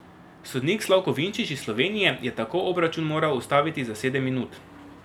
Sodnik Slavko Vinčić iz Slovenije je tako obračun moral ustaviti za sedem minut.